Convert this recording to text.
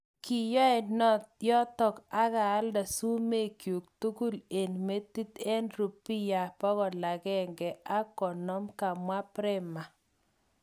Kyowe yoton akaalde sumek kyuk tugul eng metit eng rupia150 kamwa prema.